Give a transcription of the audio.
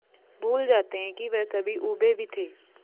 भूल जाते हैं कि वह कभी ऊबे भी थे